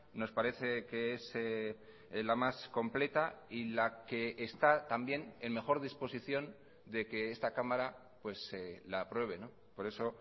nos parece que es la más completa y la que está también en mejor disposición de que esta cámara la apruebe por eso